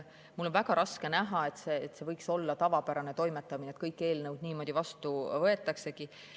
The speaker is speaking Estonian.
Mul on väga raske näha, et see võiks olla tavapärane toimetamine, et kõik eelnõud niimoodi vastu võetaksegi.